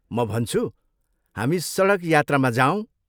म भन्छु, हामी सडक यात्रामा जाऔँ।